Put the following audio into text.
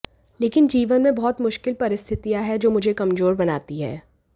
लेकिन जीवन में बहुत मुश्किल परिस्थितियां हैं जो मुझे कमजोर बनाती हैं